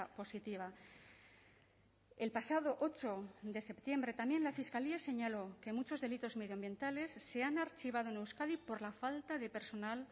positiva el pasado ocho de septiembre también la fiscalía señaló que muchos delitos medioambientales se han archivado en euskadi por la falta de personal